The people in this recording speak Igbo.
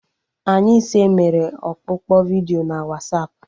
Anyị ise mere ọkpụkpọ vidiyo na Wasapụ